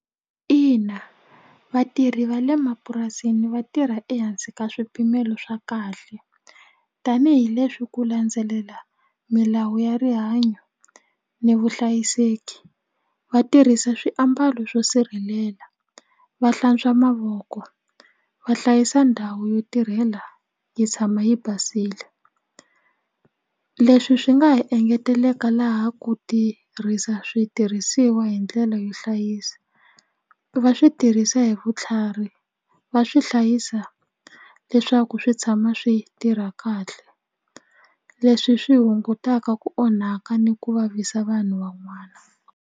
Ina vatirhi va le mapurasini va tirha ehansi ka swipimelo swa kahle tanihileswi ku landzelela milawu ya rihanyo ni vuhlayiseki va tirhisa swiambalo swo sirhelela va hlantswa mavoko va hlayisa ndhawu yo tirhela yi tshama yi basile leswi swi nga ha engeteleka laha ku tirhisa switirhisiwa hi ndlela yo hlayisa va swi tirhisa hi vutlhari va swi hlayisa leswaku swi tshama swi tirha kahle leswi swi hungutaka ku onhaka ni ku vavisa vanhu van'wana.